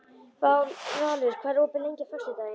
Valur, hvað er opið lengi á föstudaginn?